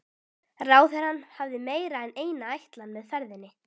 Ráðherrann hafði meira en eina ætlan með ferðinni.